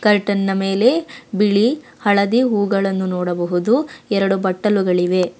Curtain ನ ಮೇಲೆ ಬಿಳಿ ಹಳದಿ ಹೂಗಳನ್ನು ನೋಡಬಹುದು ಎರಡು ಬಟ್ಟಲುಗಳಿವೆ.